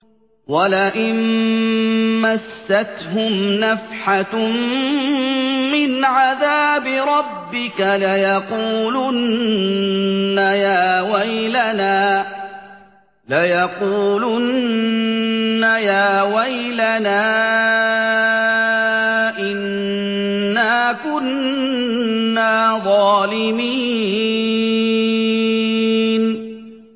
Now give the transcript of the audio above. وَلَئِن مَّسَّتْهُمْ نَفْحَةٌ مِّنْ عَذَابِ رَبِّكَ لَيَقُولُنَّ يَا وَيْلَنَا إِنَّا كُنَّا ظَالِمِينَ